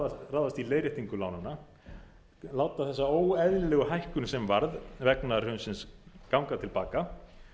að ráðast í leiðréttingu lánanna láta þessa óeðlilegu hækkun sem varð vegna hrunsins ganga til baka